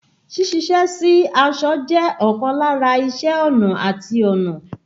Sí ṣiṣẹ́ sí aṣọ jẹ́ ọkan lára iṣé ọnà àti ọnà.